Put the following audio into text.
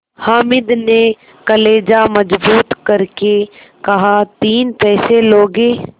हामिद ने कलेजा मजबूत करके कहातीन पैसे लोगे